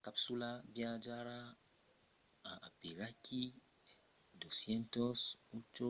la capsula viatjarà a aperaquí 12,8